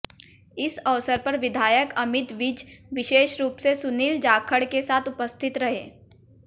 इस अवसर पर विधायक अमित विज विषेश रूप से सुनील जाखड़ के साथ उपस्थित रहे